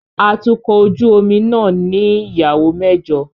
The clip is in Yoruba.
Atukọ̀ ojú omi náà ní ìyàwó mẹ́jọ